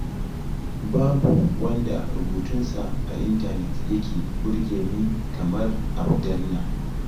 Babu wanda rubutunsa a intanet yake burge ni kamar Abdallah.